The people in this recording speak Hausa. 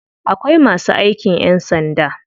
Akwai masu aikin ƴan sanda.